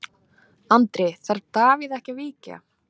Andri: Þarf Davíð ekki að víkja?